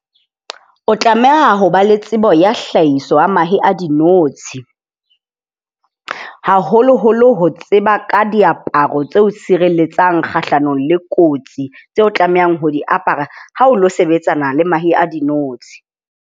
O tlameha ho ba le tsebo ya hlahiso ya mahe a dinotshi. Haholoholo ho tseba ka diaparo tse o sireletsang kgahlanong le kotsi tse o tlamehang ho di apara ha o lo sebetsana le mahe a dinotshi.